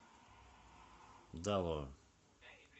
далоа